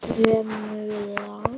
Hrefnur hér við land